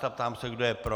Ptám se, kdo je pro.